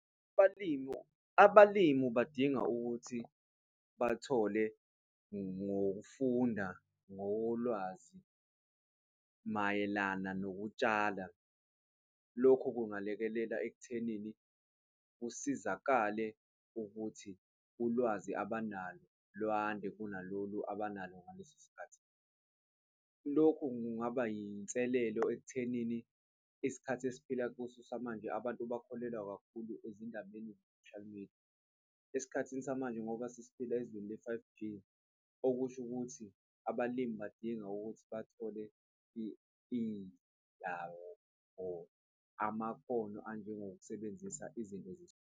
Abalimu, abalimu badinga ukuthi bathole ngokufunda ngolwazi mayelana nokutshala. Lokhu kungalekelela ekuthenini, kusizakale ukuthi ulwazi abanalo lwande kunalolu abanalo ngaleso sikhathi. Lokhu kungaba iy'nselelo ekuthenini isikhathi esiphila kuso samanje abantu bakholelwa kakhulu ezindabeni ze-social media esikhathini samanje ngoba sesiphila ezweni le-five G, okusho ukuthi abalimi badinga ukuthi bathole indawo or amakhono anjengokusebenzisa izinto .